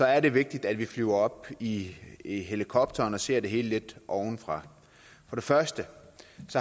er det vigtigt at vi flyver op i i helikopteren og ser det hele lidt ovenfra for det første